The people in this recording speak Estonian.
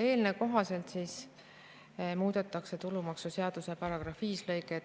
Eelnõuga muudetakse tulumaksuseaduse § 5 lõike